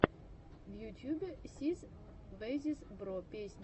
в ютюбе сис весиз бро песня